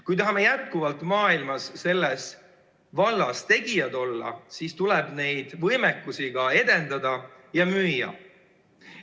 Kui tahame jätkuvalt maailmas selles vallas tegijad olla, siis tuleb neid võimekusi edendada ja müüa.